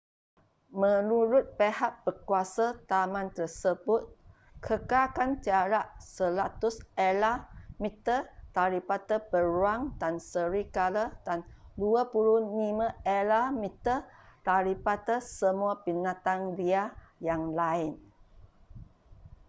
menurut pihak berkuasa taman tersebut kekalkan jarak 100 ela/meter daripada beruang dan serigala dan 25 ela/meter daripada semua binatang liar yang lain!